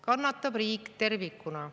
Kannatab riik tervikuna.